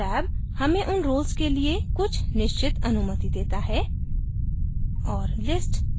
permissions tab हमें उन roles के लिए कुछ निश्चित अनुमति देता है